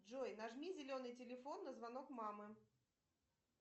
джой нажми зеленый телефон на звонок мама